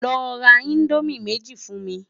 Lò rá Indómi méji fún mi